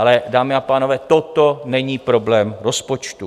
Ale dámy a pánové, toto není problém rozpočtu.